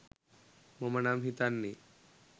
මම නම් හිතන්නේ